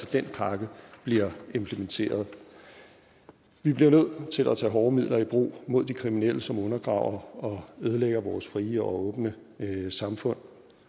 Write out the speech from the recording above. den pakke bliver implementeret vi bliver nødt til at tage hårde midler i brug mod de kriminelle som undergraver og ødelægger vores frie og åbne samfund